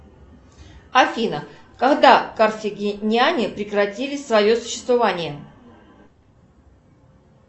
афина когда карфагеняне прекратили свое существование